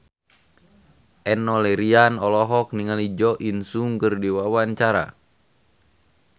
Enno Lerian olohok ningali Jo In Sung keur diwawancara